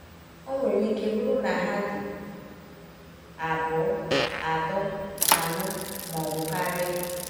Ọ nwere ike bụrụ na ha dị abụọ, atọ, anọ, ma ọ bụ karịa.